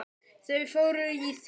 Þau fóru í þurr föt.